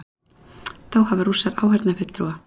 Þá hafa Rússar áheyrnarfulltrúa